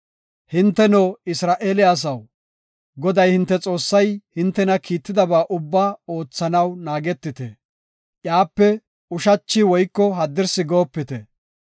Hinteno, Isra7eele asaw, Goday, hinte Xoossay hintena kiittidaba ubbaa oothanaw naagetite; iyape ushachi woyko haddirsi goopite.